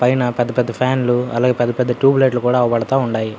పైన పెద్ద పెద్ద ఫ్యాన్ లు అలాగే పెద్ద పెద్ద ట్యూబ్ లైట్ లు కూడా అగుపడతా ఉన్నాయి.